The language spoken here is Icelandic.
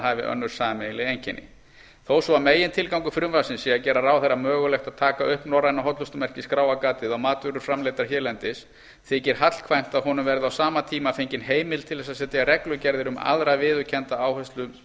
hafi önnur sameiginleg einkenni þó svo að megintilgangur frumvarpsins sé að gera ráðherra mögulegt að taka upp norræna hollustumerkið skráargatið á matvörur framleiddar hérlendis þykir hallkvæmt að honum verði á sama tíma fengin heimild til þess að setja reglugerðir um aðra viðurkennda